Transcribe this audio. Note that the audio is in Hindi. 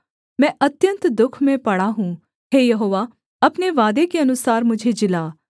मैं अत्यन्त दुःख में पड़ा हूँ हे यहोवा अपने वादे के अनुसार मुझे जिला